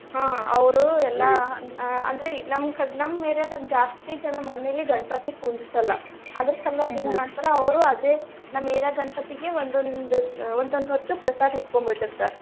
ಹ್ಮ ಅವ್ರು ಅಂದ್ರೆ ನಮ್ಮ್ ಕ~ ನಮ್ಮ್ area ದಾಗ್ ಜಾಸ್ತಿ ಜನಾ ಮನೆಲಿ ಗಣಪತಿ ಕುಂದರ್ಸಲ್ಲ ಅದರ ಸಲ್ವಾಗಿ ಮಾಡ್ತಾರ ಅವ್ರು ಆದೇ ನಮ್ಮ್ area ಗಣಪತಿಗೆ ಒಂದೊಂದ್ ಒಂದೊಂದ್ ಹೊತ್ತು ಪ್ರಸಾದ ಇಟ್ಕೊಂಡ್ಬಿಟ್ಟಿರ್ತಾರ.